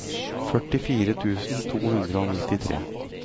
førtifire tusen to hundre og nittitre